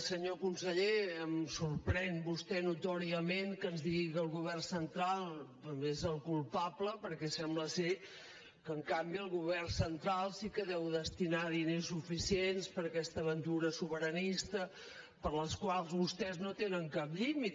senyor conseller em sorprèn vostè notòriament que ens digui que el govern central n’és el culpable perquè sembla que en canvi el govern central sí que deu destinar diners suficients per a aquesta aventura sobiranista per a la qual vostès no tenen cap límit